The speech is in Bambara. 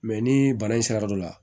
Mɛ ni bana in sera dɔ la